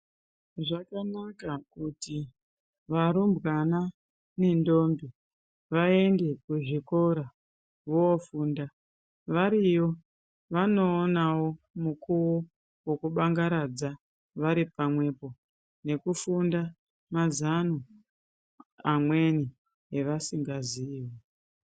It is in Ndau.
Zvakanaka kuti varumbwana nentombi vaende kuzvikora vofunda variyo vanoonawo mukuwo wekubangaradza varipamwepo nekufunda mazano amweni avasingaziyi.